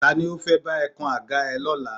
Ta ni ó fẹ́ bá ẹ kan àga ẹ lọ́la?